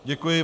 Děkuji.